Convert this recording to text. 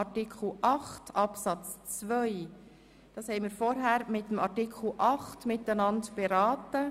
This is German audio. Artikel 8 Absatz 2 haben wir vorher gemeinsam mit Artikel 6 beraten.